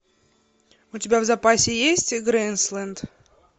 у тебя в запасе есть грейсленд